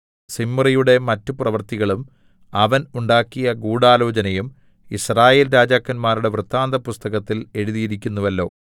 സിമ്രിയുടെ മറ്റ് പ്രവൃത്തികളും അവൻ ഉണ്ടാക്കിയ ഗൂഢാലോചനയും യിസ്രായേൽ രാജാക്കന്മാരുടെ വൃത്താന്തപുസ്തകത്തിൽ എഴുതിയിരിക്കുന്നുവല്ലോ